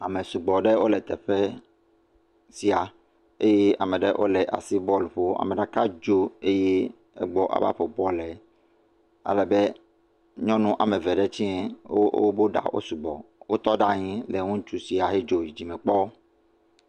Ame sugbɔ aɖe wo le teƒe sia eye ame aɖewo le asi bɔl ƒom. Ame ɖeka ddo eye egbɔ ava ƒo bɔl la. Ale be nyɔnu ame eve ɖe tsɛ wo o be ɖa o sugbɔ. Wotɔ ɖe anyi le ŋutsu sia hedzo yi dzime kpɔ.